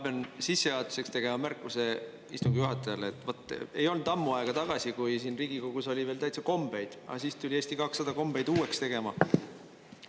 Ma pean sissejuhatuseks tegema märkuse istungi juhatajale, et ei olnud ammu aega tagasi, kui siin Riigikogus oli veel täitsa kombeid, aga siis tuli Eesti 200 kombeid uueks tegema.